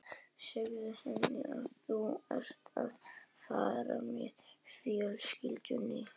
Segðu henni að þú sért að fara með fjölskyldunni